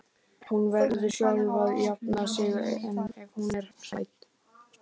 Hún verður sjálf að jafna sig ef hún er hrædd.